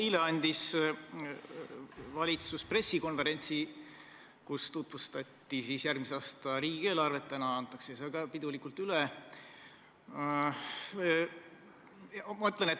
Eile andis valitsus pressikonverentsi, kus tutvustati järgmise aasta riigieelarvet, täna antakse see ka pidulikult üle.